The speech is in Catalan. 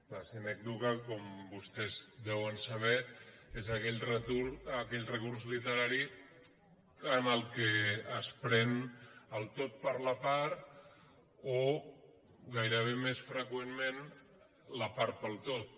la sinècdoque com vostès sa·ben és aquell recurs literari en què es pren el tot per la part o gairebé més freqüentment la part pel tot